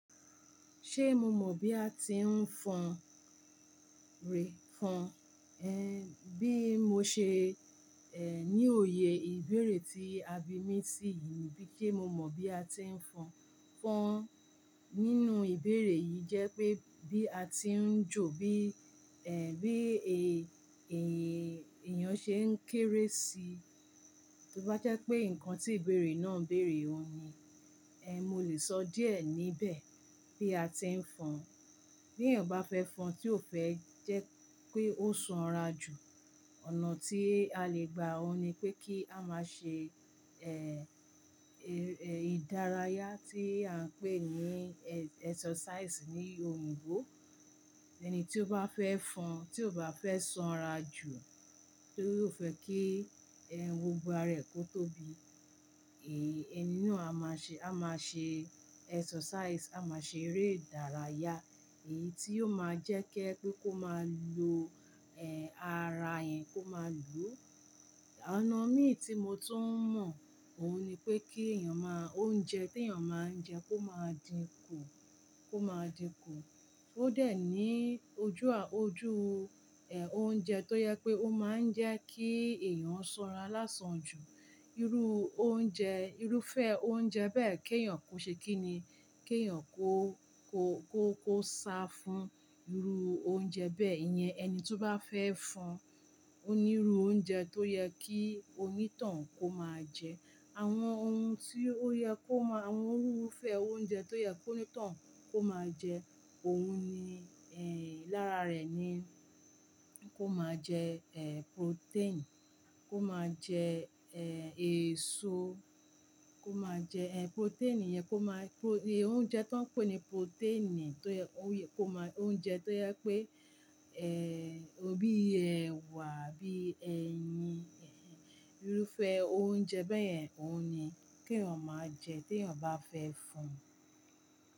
Ṣé mo mọ̀ bí a ti ń fọn rè? Fọn, bí mo ṣe ní òye ìbéèrè tí a bi mí sí yìí, ni wipe mo mọ̀ bí a ti ń fọn. Fọn nínú ìbéèrè yìí jẹ́ pé bí a ti ń jò bí, bí èèyàn ṣe ń kéré si. To bá jẹ́ pé nǹkan tí ìbéèrè náà ń bèèrè òhun ni. Eh, mo lè sọ díẹ̀ níbẹ̀ bí a ti ń fọn. Bí èèyàn bá fẹ́ fọn tí ó fẹ́ jẹ́ pé ó sanra jù, ọ̀nà tí a lè gba òhun ni pé kí a máa ṣe ìdárayá tí à ń pè ní exercise ní òyìnbó. Ẹni tí ó bá fẹ́ fọn, tí ó bá fẹ́ sanra jù, tí ó fẹ́ kí gbogbo ara ẹ̀ kó tóbi, èní náà a máa ṣe, a máa ṣe exercise, a máa ṣe eré ìdárayá, èyí tí yóò máa jẹ́ kí je pé kó máa lo, ara yen kó máa lu. Ọ̀nà mí tí mo tún mọ̀, òhun ni pé kí èèyàn máa, oúnjẹ tí èèyàn máa ń jẹ kó máa dín kù, kó máa dín kù. Ó dẹ̀ ní ojú ojú, oúnjẹ tó jẹ pé ó máa ń jẹ́ kí èèyàn sanra lásán jù. Irú oúnjẹ, irúfẹ́ oúnjẹ bẹ́ẹ̀ kí èèyàn kó ṣe kí ni, kí èèyàn kó, kó, kó, kó sá fún irú oúnjẹ bẹ́ẹ̀ yẹn. Ẹni tí ó bá fẹ́ fun, ó ní irú oúnjẹ tó yẹ kí onítohun kó máa jẹ. Àwọn ohun tí ó yẹ kó máa, àwọn irúfẹ́ oúnjẹ tó yẹ kí onítohun kó máa jẹ, òun ni, lára rẹ̀ ni kó máa jẹ, eh, protein, kó máa jẹ, eh, èso, kó máa jẹ, eh, protein yẹn kó máa, oúnjẹ tó ń pè ní protein tó yẹ kó máa, oúnjẹ tó jẹ pé, bí ẹwà bí ẹyin, irúfẹ́ oúnjẹ bẹ́ẹ̀ yẹn, òhun ni kí èèyàn máa jẹ tí èèyàn bá fẹ́ fun.